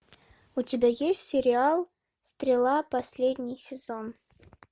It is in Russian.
у тебя есть сериал стрела последний сезон